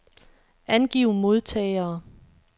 Angiv modtagere.